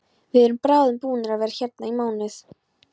Við erum bráðum búnir að vera hérna í mánuð.